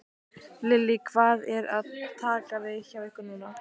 Lillý: Hvað er að taka við hjá ykkur núna?